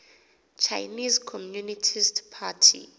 chinese communist party